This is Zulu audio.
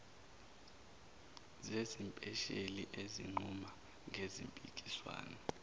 zesipesheli ezinquma ngezimpikiswano